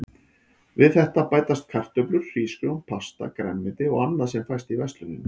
Við þetta bætast kartöflur, hrísgrjón, pasta, grænmeti og annað sem fæst í versluninni.